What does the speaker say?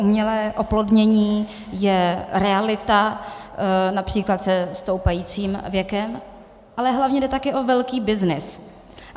Umělé oplodnění je realita, například se stoupajícím věkem, ale hlavně jde taky o velký byznys.